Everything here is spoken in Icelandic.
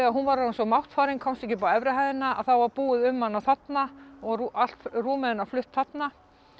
hún var orðin svo máttfarin og komst ekki upp á efri hæðina að þá var búið um hana þarna og rúmið hennar flutt þarna